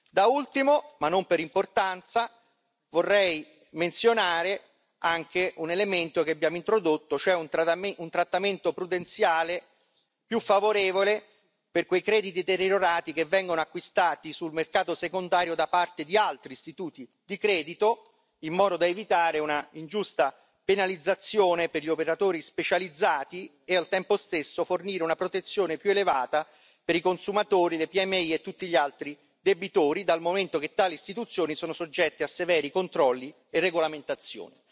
Da ultimo, ma non per importanza, vorrei menzionare anche un elemento che abbiamo introdotto, cioè un trattamento prudenziale più favorevole per quei crediti deteriorati che vengono acquistati sul mercato secondario da parte di altri istituti di credito, in modo da evitare una ingiusta penalizzazione per gli operatori specializzati e, al tempo stesso, fornire una protezione più elevata per i consumatori, le PMI e tutti gli altri debitori, dal momento che tali istituzioni sono soggette a severi controlli e regolamentazioni.